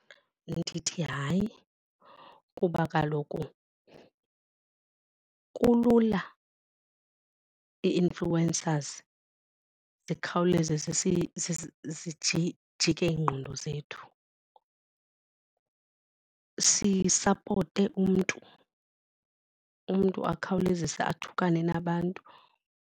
Ndithi hayi, kuba kaloku kulula ii-influencers zikhawuleze zijike iingqondo zethu. Sisapote umntu, umntu akhawulezise athukane nabantu.